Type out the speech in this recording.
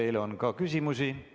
Teile on ka küsimusi.